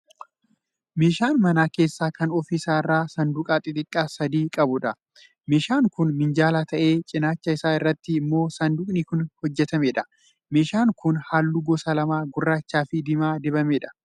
Meeshaa mana keessaa kan ofi isaa irraa saanduqa xixiqqaa sadii qabuudha. Meeshaan kun minjaala ta'ee cinaacha isaa irratti immoo saanduqni kan hojjetameedha. Meeshaan kun halluu gosa lama gurraachaa fi diimaan dibamee jira.